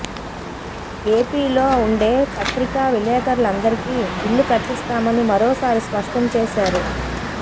ఏపీలో ఉండే పత్రికా విలేకరులందరికీ ఇళ్లు కట్టిస్తామని మరోసారి స్పష్టం చేశారు